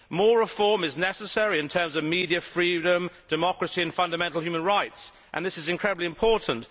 More reform is necessary in terms of media freedom, democracy and fundamental human rights, and this is incredibly important.